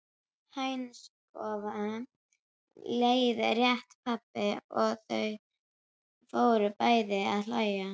Hænsnakofa, leiðrétti pabbi og þau fóru bæði að hlæja.